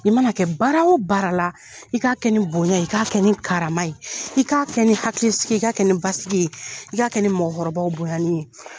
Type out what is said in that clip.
I mana kɛ baara o baara la i k'a kɛ nin bonya i k'a kɛ nin karama ye i k'a kɛ ni hakilisigi i k'a kɛ nin basigi ye i k'a kɛ ni mɔgɔkɔrɔbaw bonyani ye.